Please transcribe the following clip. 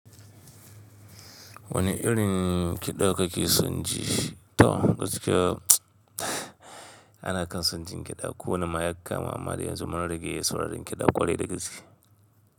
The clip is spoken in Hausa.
Wani irin kiɗa kake son ji? To gaskiya ana kan son jin kiɗa. Ko wane ma yaka ma amma dai yanzu mun rage sauraron kiɗa ƙwarai da gaske.